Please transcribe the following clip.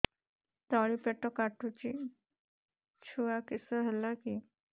ତଳିପେଟ କାଟୁଚି ଛୁଆ କିଶ ହେଲା କି